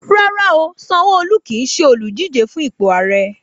Rárá o, Sanwoolu kí ṣe olùdíje fun ipò Ààrẹ.